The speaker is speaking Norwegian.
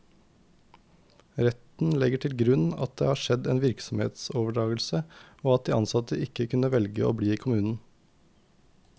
Retten legger til grunn at det har skjedd en virksomhetsoverdragelse, og at de ansatte ikke kunne velge å bli i kommunen.